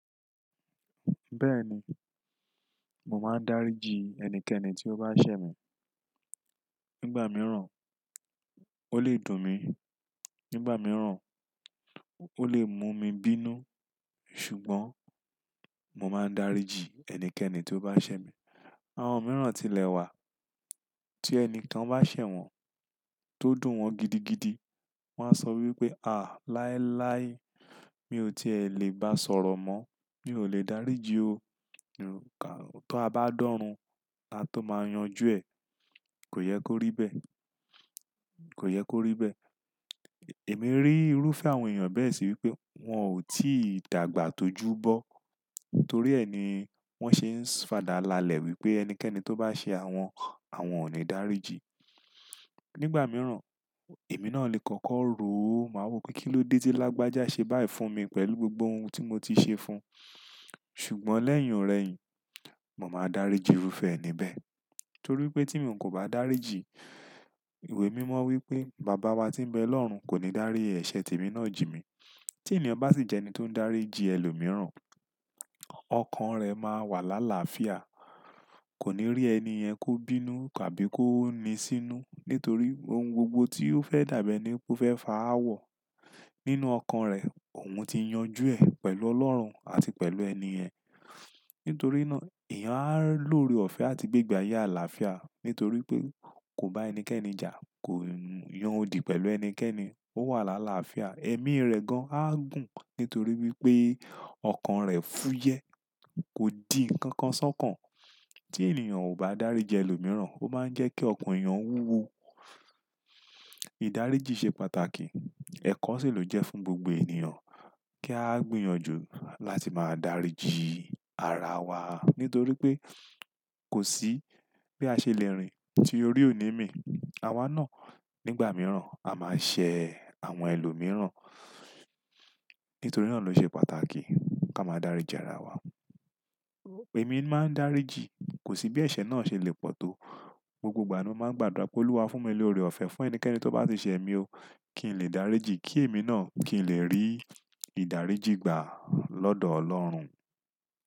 Bẹ́ẹ̀ni, mò máa ń dáríji ẹnikẹ́ni tí ó bá ṣẹ̀ mi. Nígbà mìíràn, ó lè dùn mí, nígbà mìíràn, ó lè mú mi bínú. Ṣùgbọ́n mò máa ń dáríji ẹnikẹ́ni tí ó bá ṣẹ̀ mi. Àwọn mìíràn ti lẹ̀ wà tí ẹnìkan bá ṣẹ̀ wọ́n tó dùn wọ́n gidigidi, wọ́n á sọ wípé "à láéláé mi ò tí è lè bá sọ̀rọ̀ mọ́, mi ò lè dáríji o. Tó a bá dọ́run, a tó máa yanjú ẹ. Kò yẹ kó rí bẹ́. Kò yẹ kó rí bẹ́." Èmi rí irúfẹ́ àwọn èèyàn bẹ́ẹ̀ sì wípé wọn ò tíì dàgbà tó ju bọ́. Torí ẹ ni wọ́n ṣe ń fàdàlàlẹ̀ wípé ẹnikẹ́ni tó bá ṣẹ̀ awọn, àwọn ò ní dáríji. Nígbà mìíràn, èmi náà lè kọ́kọ́ ro o. Màá wò pé kí ló dé tí lágbájá ṣe báì fún mi pẹ̀lú gbogbo ohun tí mo ti ṣe fún un. Ṣùgbọ́n lẹ́yìn òrẹ́ yìí, mò máa dáríji irúfẹ́ ẹni bẹ́ẹ̀. Torí pé tí mi ò kò bá dáríji, ìwé mímọ́ wípé Baba wa tí ń bẹ lọ́run kò ní dárí ẹ̀ṣẹ̀ tèmi náà jì mí. Tí ènìyàn bá sì jẹ́ ẹni tó ń dáríji ẹlòmíìràn, ọkàn rẹ̀ máa wà lálàáfíà, kò ní rí ẹniyen kó bínú tàbí kó ní sínú. Nítorí ohun gbogbo tí ó fẹ́ dàbẹ enípe, ó fẹ́ fà á wọ̀. Nínú ọkàn rẹ̀, òun ti yanjú ẹ pẹ̀lú Ọlọ́run àti pẹ̀lú ẹniyen. Nítorí náà, èèyàn á lóore ọ̀fẹ́ àti gbígbà ayé àlàáfíà. Nítorí pé kò bá ẹnikẹ́ni jà, kò yan odi pẹ̀lú ẹnikẹ́ni. Ó wà lálàáfíà. Ẹ̀mí rẹ̀ gan-an á gùn nítorí wípé ọkàn rẹ̀ fúyẹ́. Kò di ǹkan kan sọ́kan. Tí ènìyàn ò bá dáríji ẹlòmíìràn, ó máa ń jẹ́ kí ọkàn èèyàn wúwo. Ìdáríji ṣe pàtàkì. Ẹ̀kọ́ sì ló jẹ́ fún gbogbo ènìyàn kí a gbìyànjú láti máa dáríji ara wa. Nítorí pé kò sí bí a ṣe le rìn tí orí ò ní mì. Àwa náà nígbà mìíràn á máa ṣẹ̀ àwọn ẹlòmíìràn. Nítorí náà ló ṣe pàtàkì ká máa dáríji ara wa. Èmi máa ń dáríji. Kò sí bí ẹ̀ṣẹ̀ náà ṣe lè pọ̀ tó. Gbogbo ìgbà ni mó máa ń gbàdúrà pé Olúwa fún mi lórí ọ̀fẹ́ fún ẹnikẹ́ni tó bá sì ṣẹ̀ mi o. Kí n lè dáríji. Kí èmi náà kí n lè rí ìdáríjìgbà lọ́dọ̀ Ọlọ́run.